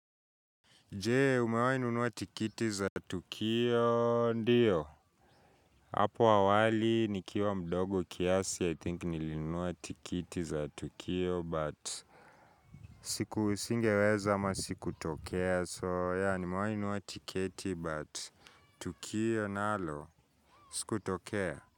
Je umewai nunua tikiti za tukio ndiyo hapo awali nikiwa mdogo kiasi i think nilinua tikiti za tukio but singeweza ama sikutokea so yeah nimewahi kununua tiketi but tukio nalo sikutokea.